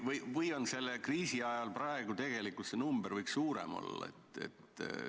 Või võiks selle kriisi ajal see number suurem olla?